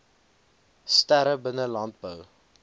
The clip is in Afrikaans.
sterre binne landbou